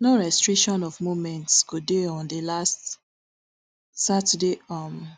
no restriction of movements go dey on di last saturday um